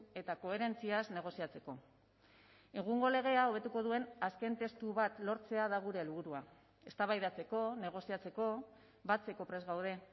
eta koherentziaz negoziatzeko egungo legea hobetuko duen azken testu bat lortzea da gure helburua eztabaidatzeko negoziatzeko batzeko prest gaude